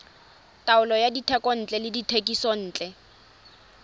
taolo ya dithekontle le dithekisontle